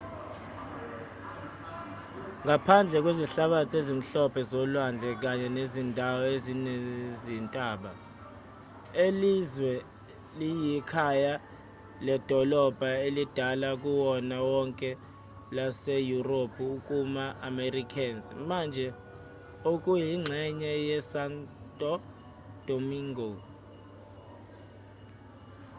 ngaphandle kwezihlabathi ezimhlophe zolwandle kanye nezindawo ezinezintaba lelizwe liyikhaya ledolobha elidala kunawo wonke laseyurophu kuma-americas manje okuyingxenye yesanto domingo